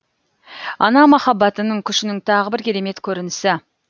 ана махаббатының күшінің тағы бір керемет көрінісі